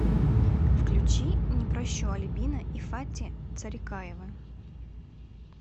включи не прощу альбина и фати царикаевы